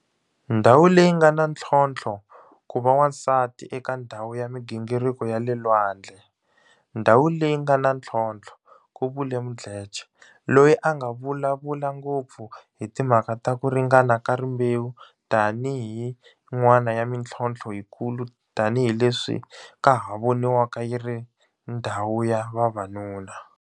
Ndhawu leyi nga na ntlhontlho Ku va wansati eka ndhawu ya mi gingiriko ya le lwandlei ndhawu leyi nga na ntlhontlho ku vule Mdletshe, loyi a nga vulavula ngopfu hi timhaka ta ku ringana ka rimbewu tanihi yin'wana ya mitlhonthlo yikulu tanihi leswi ka ha voniwaka yi ri ndhawu ya vavanuna